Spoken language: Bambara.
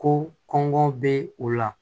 Ko kɔngɔ be u la